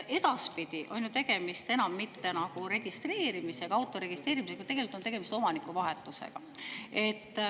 Edaspidi ei ole ju tegemist auto registreerimisega, vaid tegelikult on tegemist omanikuvahetusega.